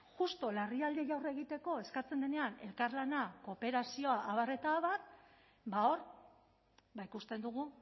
justu larrialdiei aurre egiteko eskatzen denean elkarlana kooperazioa abar eta abar ba hor ikusten dugu